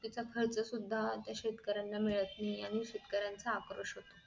खर्च सुद्धा ते शेतकऱ्यांना मिळत नाही आणि शेतकऱ्यांना आक्रोश होतो